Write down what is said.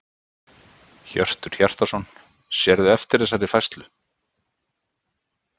Hjörtur Hjartarson: Sérðu eftir þessari færslu?